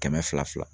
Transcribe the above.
Kɛmɛ fila fila